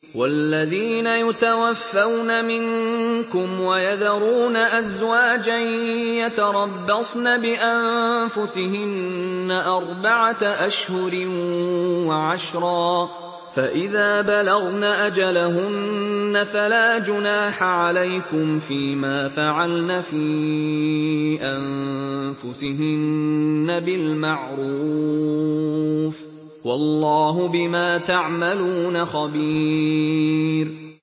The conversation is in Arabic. وَالَّذِينَ يُتَوَفَّوْنَ مِنكُمْ وَيَذَرُونَ أَزْوَاجًا يَتَرَبَّصْنَ بِأَنفُسِهِنَّ أَرْبَعَةَ أَشْهُرٍ وَعَشْرًا ۖ فَإِذَا بَلَغْنَ أَجَلَهُنَّ فَلَا جُنَاحَ عَلَيْكُمْ فِيمَا فَعَلْنَ فِي أَنفُسِهِنَّ بِالْمَعْرُوفِ ۗ وَاللَّهُ بِمَا تَعْمَلُونَ خَبِيرٌ